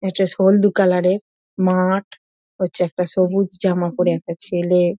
এটা হলদু কালার এর মাঠ হচ্ছে একটা সবুজ জামা পরে একটা ছেলে--